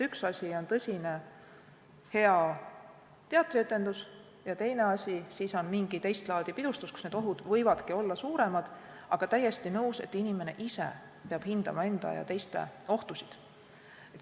Üks asi on tõsine, hea teatrietendus ja teine asi on mingi teist laadi pidustus, kus need ohud võivadki olla suuremad, aga täiesti nõus, et inimene ise peab hindama enda ja teiste ohtusid.